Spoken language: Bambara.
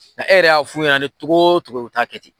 Nka e yɛrɛ y'a fu ɲɛ ni togotogo ye u taa kɛ ten.